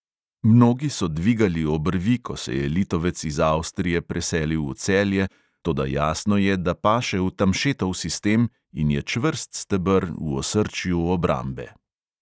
Mnogi so dvigali obrvi, ko se je litovec iz avstrije preselil v celje, toda jasno je, da paše v tamšetov sistem in je čvrst steber v osrčju obrambe.